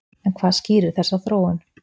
En hvað skýrir þessa þróun.